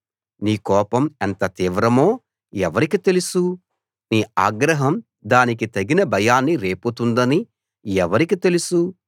నీ కోపం ఎంత తీవ్రమో ఎవరికి తెలుసు నీ ఆగ్రహం దానికి తగిన భయాన్ని రేపుతుందని ఎవరికి తెలుసు